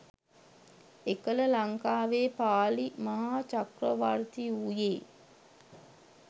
එකල ලංකාවේ පාලි මහා චක්‍රවර්ති වූයේ